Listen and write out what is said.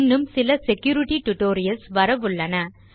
இன்னும் சில security tutorials வரவுள்ளன